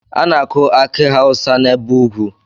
A na-aku akị hausa n'ebe ugwu.